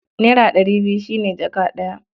Naira ɗari biyu shi ne jaka ɗaya.